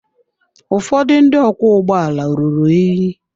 Ụfọdụ ndị ọkwọ ụgbọala ruru unyi.